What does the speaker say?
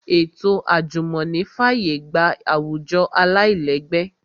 Ètò àjùmọ̀ní fàyè gba àwùjọ aláìlẹ́gbẹ́